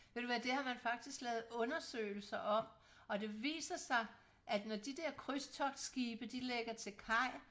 Ved du hvad det har man faktisk lavet undersøgelser om og det viser sig at når de der krydstogtskibe de lægger til kaj